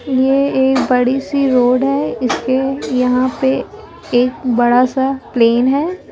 ये एक बड़ी सी रोड है इसके यहां पे एक बड़ा सा प्लेन है।